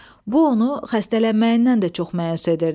Bu onu xəstələnməyindən də çox məyus edirdi.